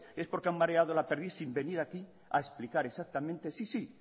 es porque han mareado la perdiz sin venir aquí a explicar exactamente sí sí